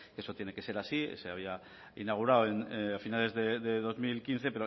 eso tiene que ser así se había inaugurado a finales de dos mil quince